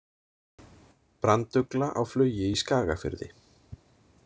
Brandugla á flugi í Skagafirði.